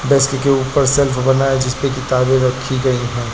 Desk के ऊपर shelf बना है जिसपे किताबे रखी गई है।